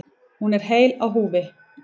Hún er heil á húfi.